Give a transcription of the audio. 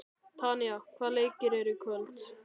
Tanya, hvaða leikir eru í kvöld?